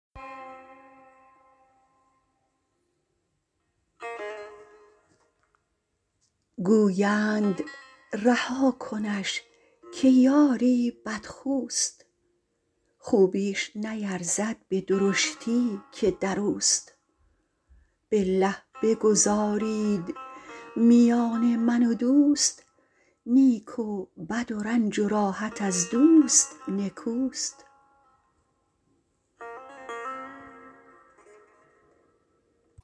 گویند رها کنش که یاری بدخوست خوبیش نیرزد به درشتی که دروست بالله بگذارید میان من و دوست نیک و بد و رنج و راحت از دوست نکوست